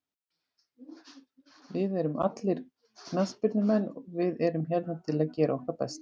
Við erum allir knattspyrnumenn og við erum hér til að gera okkar besta.